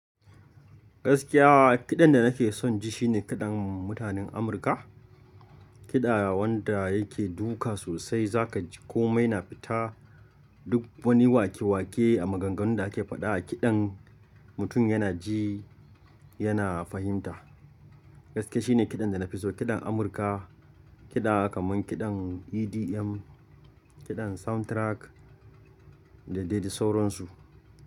Gaskiya kiɗan da nake son ji shine kiɗan mutanen Amurka. Kiɗa wanda yake duka sosai za ka ji komai na fita. Duk wani wake-wake a maganganun da ake faɗa a kiɗan mutum yana ji, yana fahimta. Gaskiya shi ne kiɗan da na fi so kiɗan Amurka, kiɗa kaman kiɗan EDM, kiɗan soundtrack da dai dai sauran su.